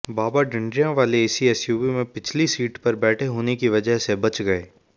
बाबा ढंडरियांवाले इसी एसयूवी में पिछली सीट पर बैठे होने की वजह से बच गए